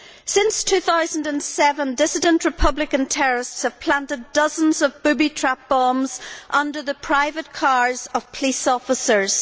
Since 2007, dissident Republican terrorists have planted dozens of booby trap bombs under the private cars of police officers.